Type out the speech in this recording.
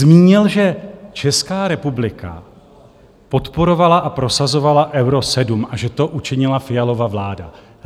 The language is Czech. Zmínil, že Česká republika podporovala a prosazovala Euro 7 a že to učinila Fialova vláda.